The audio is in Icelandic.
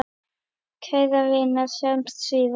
Kæra vina, sjáumst síðar.